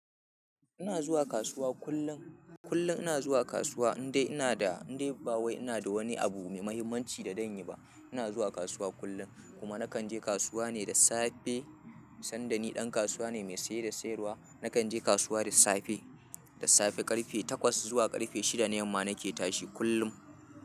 Ina zuwa kasuwa kullum, kullum ina zuwa kasuwa indai ina da, indai ba wai ina da wani abu mai mahimmanci da dan yi ba. Ina zuwa kasuwa kullum kuma nakan je kasuwa ne da safe. Sanda ni ɗan kasuwa ne mai saye da sayarwa, nakan je kasuwa da safe, da safe ƙarfe takwas zuwa ƙarfe shida na yamma nake tashi kullum.